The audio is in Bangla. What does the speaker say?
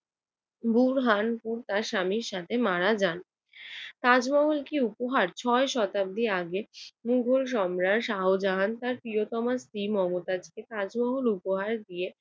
বোরহান ও তার স্বামীর সাথে মারা যান। তাজমহল কি উপহার? ছয় শতাব্দী আগে মুঘল সম্রাট শাহজাহান তার প্রিয়তমা স্ত্রী মমতাজকে তাজমহল উপহার দিয়ে